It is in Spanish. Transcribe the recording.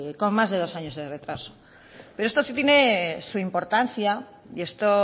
con más de dos años de retraso pero esto sí tiene su importancia y esto